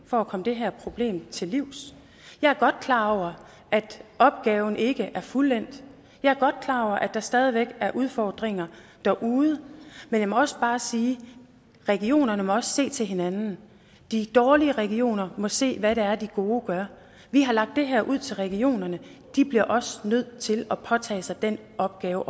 for at komme det her problem til livs jeg er godt klar over at opgaven ikke er fuldendt jeg er godt klar over at der stadig væk er udfordringer derude men jeg må også bare sige at regionerne også må se til hinanden de dårlige regioner må se hvad det er de gode gør vi har lagt det her ud til regionerne og de bliver også nødt til at påtage sig den opgave